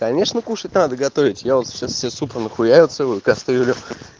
конечно кушать надо готовить я вот сейчас себе супа нахуярил целую кастрюлю